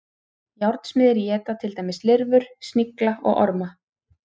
Járnsmiðir éta til dæmis lirfur, snigla og orma.